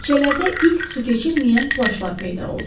Küçələrdə ilk su keçirməyən plaşlar peyda oldu.